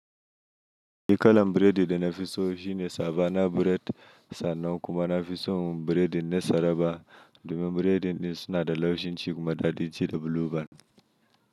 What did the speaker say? Ni kalan biredi da na fi so shine Savannah Bread sannan kuma na fi son biredin na tsaraba domin biredin din suna da laushin ci kuma da dajin ci da blue-band.